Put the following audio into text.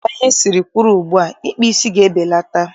Dịka ihe siri kwụrụ ugbua, ịkpa isi ga-ebelata.